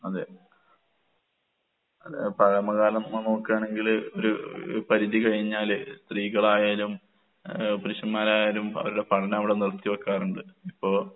അതെ. ഏഹ് പഴമകാലം ഇമ്മള് നോക്ക്കാണെങ്കില് ഒരു പരിധി കഴിഞ്ഞാല് സ്ത്രീകളായാലും ഏഹ് പുരുഷന്മാരായാലും പ അവർടെ പഠനം അവടെ നിർത്തി വെക്കാറുണ്ട്. ഇപ്പോ